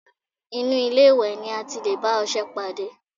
Inú ilé-ìwẹ̀ ni a ti lè bá ọṣẹ pàdé